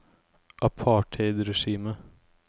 apartheidregimet